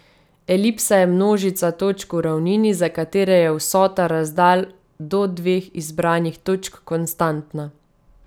Elipsa je množica točk v ravnini, za katere je vsota razdalj do dveh izbranih točk konstantna.